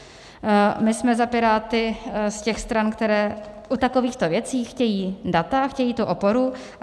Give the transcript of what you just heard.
My jsme za Piráty z těch stran, které u takovýchto věcí chtějí data, chtějí tu oporu.